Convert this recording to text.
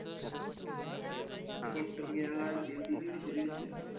Contri घ्यायला हवी होती दीडशे दीडशे.